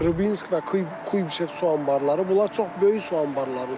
Rubinsk və Kuybişev su anbarları, bunlar çox böyük su anbarlarıdır.